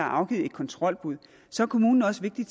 afgivet et kontrolbud så er kommunen også pligtig